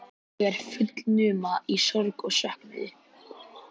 Ég er fullnuma í sorg og söknuði.